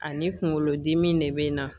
Ani kunkolodimi de bɛ n na